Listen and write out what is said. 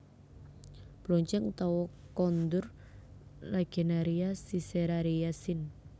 Bloncèng utawa Kondur Lagenaria siceraria sin